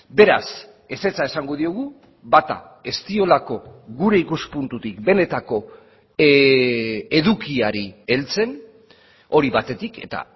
beraz ezetza esango diogu bata ez diolako gure ikuspuntutik benetako edukiari heltzen hori batetik eta